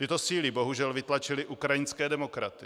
Tyto síly bohužel vytlačily ukrajinské demokraty.